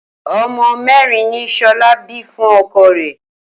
O̩mo̩ mé̩rin ni S̩o̩lá bí fún o̩ko̩ rè̩?